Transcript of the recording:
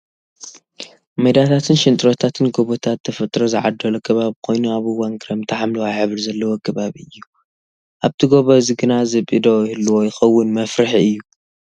ሜዳታተትን ሽንጥሮታት፣ ጎቦታት ፣ተፈጥሮ ዝዓደሎ ከባቢ ኮይኑ ኣብ እዋን ክረምቲ ሓምለዋይ ሕብሪ ዘለዎ ከባቢ እዩ። ኣብቲ ጎቦ እዚ ግና ዝብኢ ዶ ይህልዎ ይከውን መፍርሒ እዩ።